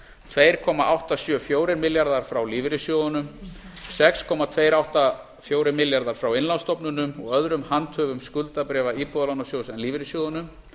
tvö komma átta sjö fjórir milljarðar frá lífeyrissjóðum sex komma tveggja átta fjórir milljarðar frá innlánsstofnunum og öðrum handhöfum skuldabréfa íbúðalánasjóðs en lífeyrissjóðunum